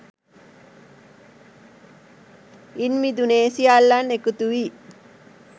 ඉන් මිදුනේ සියල්ලන් එකතු වී